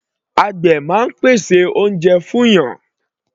Àgbè máa ń pèsè oúnjẹ fún ènìyàn.